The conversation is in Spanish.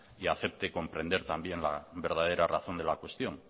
y acepte comprender también la verdadera razón de la cuestión